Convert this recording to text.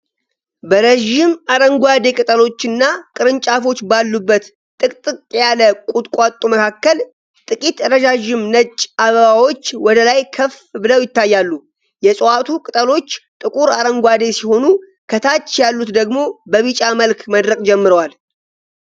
በረዥም አረንጓዴ ቅጠሎችና ቅርንጫፎች ባሉበት ጥቅጥቅ ያለ ቁጥቋጦ መካከል፣ ጥቂት ረዣዥም ነጭ አበባዎች ወደ ላይ ከፍ ብለው ይታያሉ። የእጽዋቱ ቅጠሎች ጥቁር አረንጓዴ ሲሆኑ፣ ከታች ያሉት ደግሞ በቢጫ መልክ መድረቅ ጀምረዋል።